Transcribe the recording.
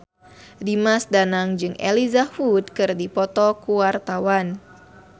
Dimas Danang jeung Elijah Wood keur dipoto ku wartawan